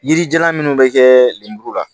Yirijalan minnu bɛ kɛ lenburu la